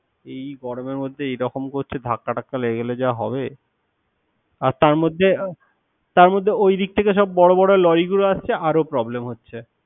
এই গরমে মধ্যে এরকম করছে ধাক্কা টাক্কা লেগে যা হবে। আর তার মধ্যে তার মধ্যে ওই দিক থেকে সব বড় লরি গুলো আসছে। আরো problem হচ্ছে।